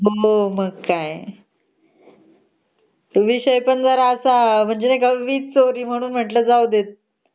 मग काय तो विषय पण असा वीज चोरी म्हणल जाऊ दे